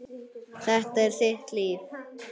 Þetta er þitt líf